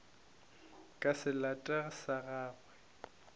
ka se late sa gagwe